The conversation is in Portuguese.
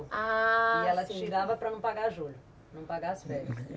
Ah... E ela tirava para não pagar julho, não pagar as férias.